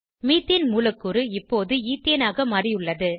methane மூலக்கூறு இப்போது ஈத்தேனாக மாறியுள்ளது